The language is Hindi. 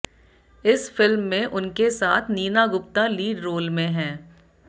इस फिल्म में उनके साथ नीना गुप्ता लीड रोल में हैं